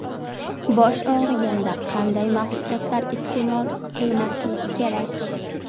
Bosh og‘riganda qanday mahsulotlar iste’mol qilmaslik kerak?.